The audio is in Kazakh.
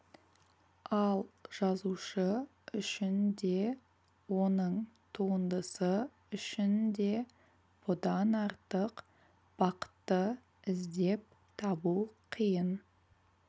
ал жазушы үшін де оның туындысы үшін де бұдан артық бақытты іздеп табу қиын